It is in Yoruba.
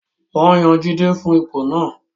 Wọ́n yan Jide fún ipò náà